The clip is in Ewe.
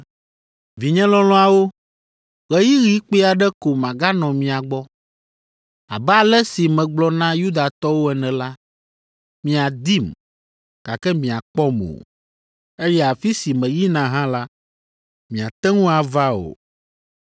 “Vinye lɔlɔ̃awo, ɣeyiɣi kpui aɖe ko maganɔ mia gbɔ! Abe ale si megblɔ na Yudatɔwo ene la, miadim, gake miakpɔm o, eye afi si meyina hã la, miate ŋu ava o.